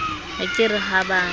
a ka re ha ba